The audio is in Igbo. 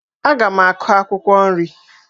Aga m akụ akwụkwọ nri